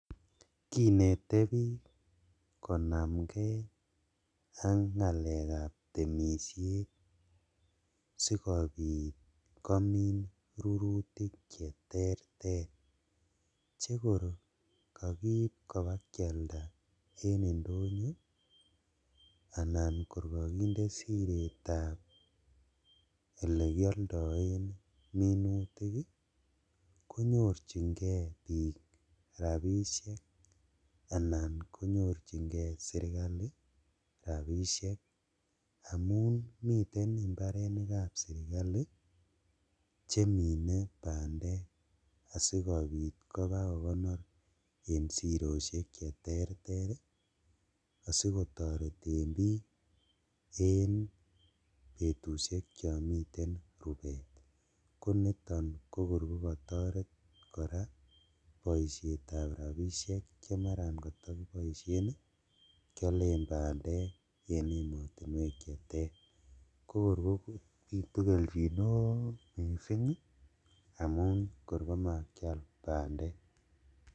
Kinete bik komamke ak ngalekab temishet sikobit komin rurutik cheterter chekor kokiib kobakialda en indonyo anan kor kokinde siretab elekioldoen rurutik ii konyorjingee bik rabishek anan konyorjingee sirkali, amun miten imbarenikab sirkali chemine bandek asikobit kobakokonor en siroshek cheterter ii asikotoreten bik en betushek chon miten rubet koniton kokor kokotoret koraa boishetab rabishek chemaran kotokuboishen ii kiolen bandek en emotinuek cheter kokor kobitu keljin neo missing' amun kor komakial bandek.